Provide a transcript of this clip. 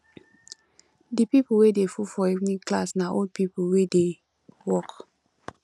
di pipo wey dey full for evening class na old pipo wey dey work